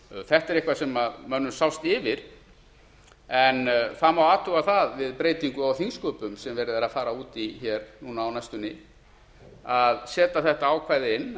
þetta er eitthvað sem mönnum sást yfir en það má athuga það við breytingu á þingsköpum sem verið er að fara út í á næstunni að setja þetta ákvæði inn